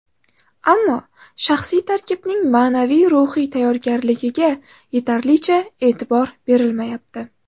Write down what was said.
Ammo shaxsiy tarkibning ma’naviy-ruhiy tayyorgarligiga yetarlicha e’tibor berilmayapti.